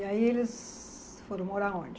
E aí eles foram morar onde?